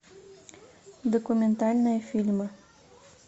документальные фильмы